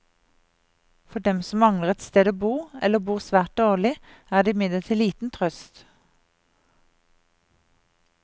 For dem som mangler et sted å bo, eller bor svært dårlig, er det imidlertid liten trøst.